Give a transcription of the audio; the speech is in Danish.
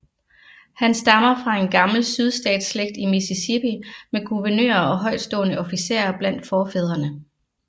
Han stammer fra en gammel sydstatsslægt i Mississippi med guvernører og højtstående officerer blandt forfædrene